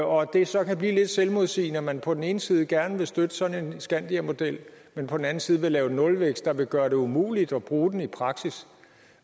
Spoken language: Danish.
og at det så kan blive lidt selvmodsigende at man på den ene side gerne vil støtte sådan en skandiamodel men på den anden side lave nulvækst der vil gøre det umuligt at bruge den i praksis